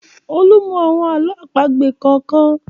Olú mọ́ àwọn àlọ́ àpagbè kọ̀ọ̀kan.